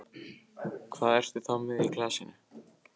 Hvað ertu þá með í glasinu?